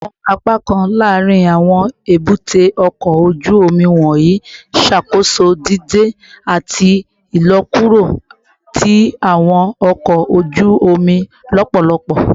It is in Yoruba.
Awọn apakan laarin awọn ebute oko oju omi wọnyi ṣakoso dide ati ilọkuro ti awọn ọkọ oju omi lọpọlọpọ